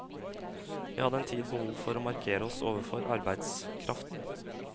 Vi hadde en tid behov for å markere oss overfor arbeidskraften.